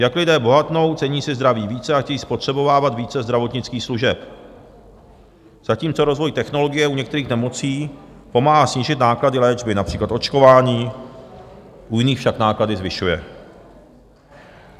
Jak lidé bohatnou, cení si zdraví více a chtějí spotřebovávat více zdravotnických služeb, zatímco rozvoj technologie u některých nemocí pomáhá snížit náklady léčby, například očkování, u jiných však náklady zvyšuje.